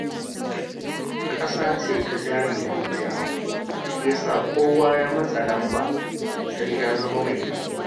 Ƙasa ce ta jari-hujja shi ya sanya kowa ya matsa lamba sai ya zama mai kuɗi.